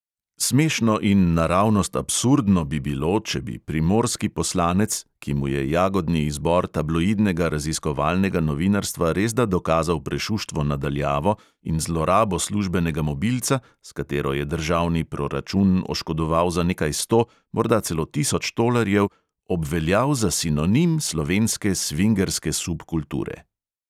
Smešno in naravnost absurdno bi bilo, če bi primorski poslanec, ki mu je jagodni izbor tabloidnega raziskovalnega novinarstva resda dokazal prešuštvo na daljavo in zlorabo službenega mobilca, s katero je državni proračun oškodoval za nekaj sto, morda celo tisoč tolarjev, obveljal za sinonim slovenske svingerske subkulture.